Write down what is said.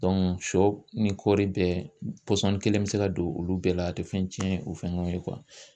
sɔ ni kɔɔri bɛɛ pɔsɔni kelen bɛ se ka don olu bɛɛ la a tɛ fɛn cɛn u fɛn ɲɔgɔn ye